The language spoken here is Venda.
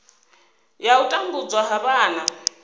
ya u tambudzwa ha vhana